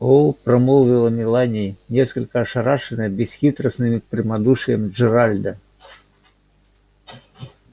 о промолвила мелани несколько ошарашенная бесхитростным прямодушием джералда